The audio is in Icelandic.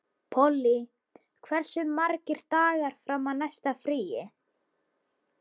Polly, hversu margir dagar fram að næsta fríi?